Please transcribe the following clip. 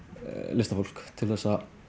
listafólk til að